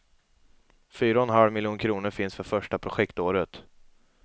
Fyra och en halv miljon kronor finns för första projektåret.